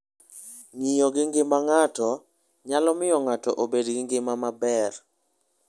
Ng'iyo gi ngima ng'ato, nyalo miyo ng'ato obed gi ngima maber.